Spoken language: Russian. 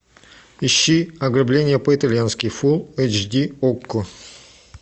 ищи ограбление по итальянски фул эйч ди окко